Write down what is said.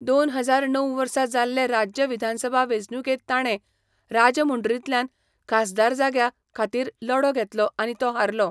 दोन हजार णव वर्सा जाल्ले राज्य विधानसभा वेंचणुकेंत ताणें राजमुंड्रींतल्यान खासदार जाग्या खातीर लढो घेतलो आनी तो हारलो.